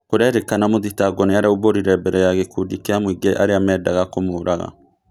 Kũrerĩkana mũthitangwo nĩaraumbũrire mbere ya gïkundi kĩa mũĩngĩ arĩa mendaga kũmũraga